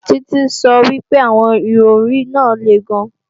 Títí sọ wípé àwọn Ìrọ̀rí náà le gan